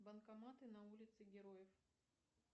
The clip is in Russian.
банкоматы на улице героев